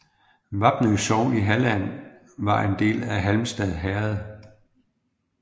Vapnø sogn i Halland var en del af Halmstad herred